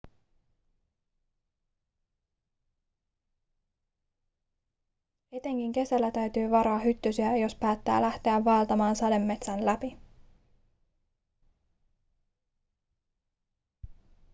etenkin kesällä täytyy varoa hyttysiä jos päättää lähteä vaeltamaan sademetsän läpi